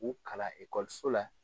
U kalan ekɔliso la.